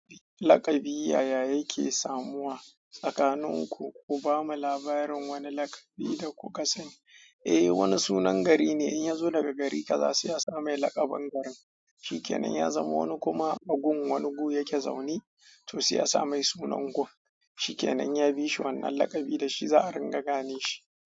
Laƙabi yaya yake samuwa? Tsakaninku ku bamu labarin wani laƙabi da kuka sani. Eh wani sunan gari ne in ya zo daga gari kaza sai ya samu laƙabin garin. Shikenan ya zama wani kuma a gun wani gu yake zaune to sai ya samu sunan gun. Shikenan ya bishi wannan laƙabi da shi za a ringa gane shi.